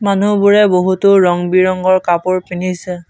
মানুহবোৰে বহুতো ৰং বিৰঙৰ কাপোৰ পিন্ধিছে।